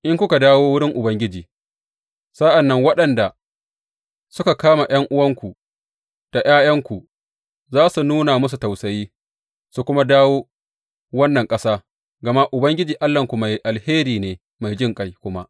In kuka dawo wurin Ubangiji, sa’an nan waɗanda suka kama ’yan’uwanku da ’ya’yanku za su nuna musu tausayi, su kuma dawo wannan ƙasa, gama Ubangiji Allahnku mai alheri ne mai jinƙai kuma.